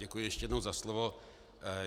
Děkuji ještě jednou za slovo.